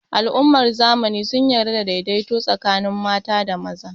Al'ummar zamani sun yarda da daidaito tsakanin mata da maza